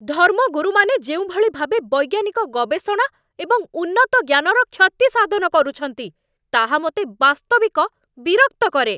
ଧର୍ମଗୁରୁମାନେ ଯେଉଁଭଳି ଭାବେ ବୈଜ୍ଞାନିକ ଗବେଷଣା ଏବଂ ଉନ୍ନତଜ୍ଞାନର କ୍ଷତି ସାଧନ କରୁଛନ୍ତି, ତାହା ମୋତେ ବାସ୍ତବିକ ବିରକ୍ତ କରେ।